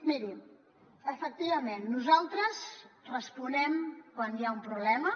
mirin efectivament nosaltres responem quan hi ha un problema